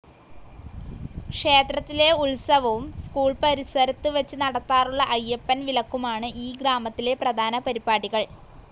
ക്ഷേത്രത്തിലെ ഉത്സവവും സ്കൂൾ പാറിശരത് വെച്ച് നദതാറുള്ള അയ്യപ്പൻ വിലക്കുമാണ് ഈ ഗ്രാമത്തിലെ പ്രധാന പാറിപടികൾ